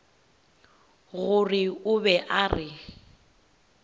gore o be a re